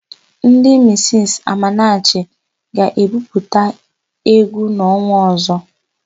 Ndị misisi Amanachi ga-ebupụta égwú n'ọnwa ọ̀zọ́.